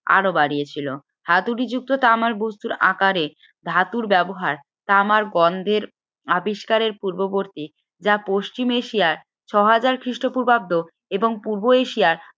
আরো বাড়িয়েছে হাতুড়ি যুক্ত তামার বস্তুর আকারে ধাতুর ব্যবহার তামার গন্ধের আবিষ্কারের পূর্ববর্তী যা পশ্চিম এশিয়ার ছয় হাজার খ্রিস্টপূর্বাব্দে এবং পূর্ব এশিয়ায়